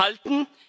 halten.